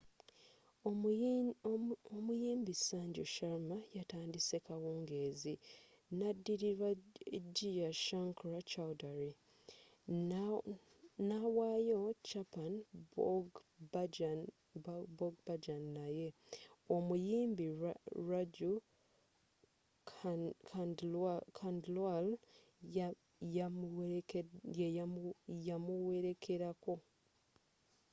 omuyimbi sanju sharma yatandise kawungeezi nadilirwa jai shankar choudhary nawayo chhappan bhog bhajan naye omuyimbi raju khandelwal yamuwerekelako